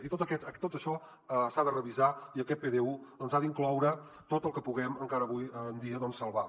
i tot això s’ha de revisar i aquest pdu doncs ha d’incloure tot el que puguem encara avui en dia salvar